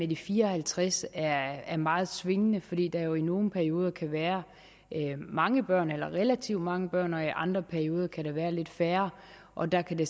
de fire og halvtreds er meget svingende fordi der jo i nogle perioder kan være mange børn eller relativt mange børn og i andre perioder kan der være lidt færre og der kan det